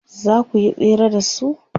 zakuyi tsere da su?